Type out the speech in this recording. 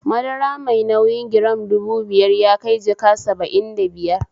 Madara mai nauyi giram dubu biyar yakai jaka saba'in da biyar